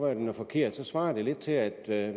at den er forkert svarer det lidt til at jeg